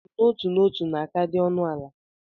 Njem n'otu n'ọtu na-aka adị ọnụ ala.